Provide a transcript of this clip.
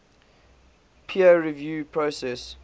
peer review process